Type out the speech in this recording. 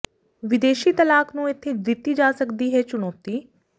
ਵਿਦੇਸ਼ੀ ਤਲਾਕ ਨੂੰ ਇੱਥੇ ਦਿੱਤੀ ਜਾ ਸਕਦੀ ਹੈ ਚੁਣੌਤੀ